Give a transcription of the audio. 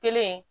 Kelen